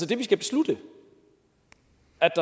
det vi skal beslutte